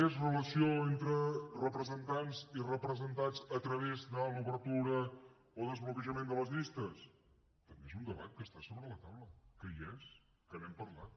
més relació entre representants i representats a través de l’obertura o desbloquejament de les llistes també és un debat que està sobre la taula que hi és que n’hem parlat